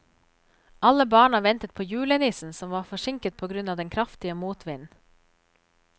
Alle barna ventet på julenissen, som var forsinket på grunn av den kraftige motvinden.